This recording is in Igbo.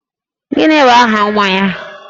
Gini bụ aha nwa ya?